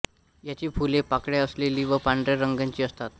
याची फुले पाकळ्या असलेली व पांढर्या रंगाची असतात